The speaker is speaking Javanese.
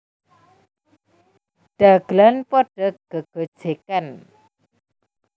Dagelan padha gegojegan